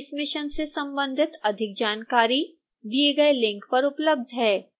इस मिशन से संबंधित अधिक जानकारी दिए गए लिंक पर उपलब्ध है